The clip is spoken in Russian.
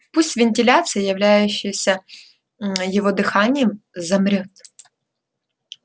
пусть вентиляция являющаяся мм его дыханием замрёт